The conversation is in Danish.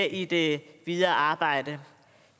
i det videre arbejde